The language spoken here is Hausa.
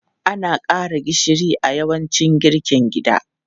Ana ƙara gishiri a yawancin girkin gida.